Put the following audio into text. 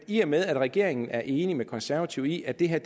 i og med at regeringen er enig med de konservative i at det her